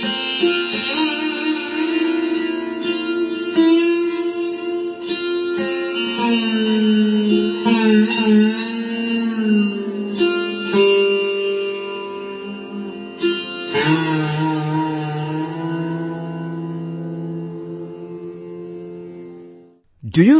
Sound Clip 21 seconds Instrument 'Sursingar', Artist Joydeep Mukherjee